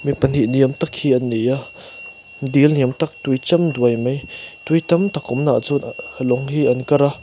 mi pahnih ni awm tak hi an ni a dil niam tak tui cham duai mai tui tam tak awmnaah chuan lawng hi an kar a.